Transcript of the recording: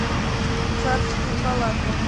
царские палаты